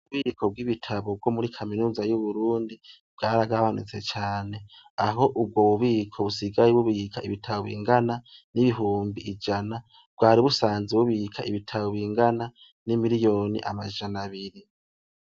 Ububiko bwibitabo muri kaminuza yuburundi bwaragabanutse cane aho ubwobubiko busigaye bubika ibitabo bingana nibihumbi ijana bwari busanzwe bubika ibitabo bingana nimiriyoni amajana abiri